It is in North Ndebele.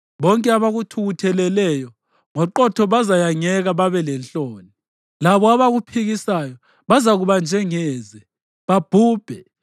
Bonke abakuthukutheleleyo, ngoqotho bazayangeka babe lenhloni; labo abakuphikisayo bazakuba njengeze, babhubhe.